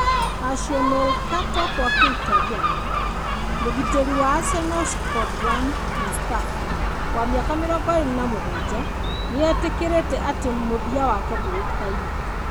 (Calciomercato -kwa kĩ Itariano) Mũgitĩri wa Arsenal Shkodran Mustafi, wa mĩaka 27, nĩ etĩkĩrĩte atĩ mũthia wake ndũĩkaine.